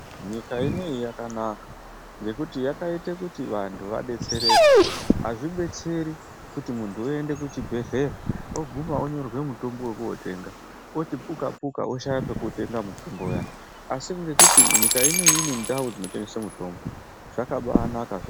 Nyika ineyi yakanaka ngekuti yakaite kuti vantu vadetsereke azvibetseri kuti muntu oende kuchibhedhlera oguma onyorerwe mutombo wekotenga oguma oti puka puka oshaya pekutenga mutombo uya asi ngekuti nyika ineyi ine ndau dzinotengese mutombo zvakabanaka zvirozvo.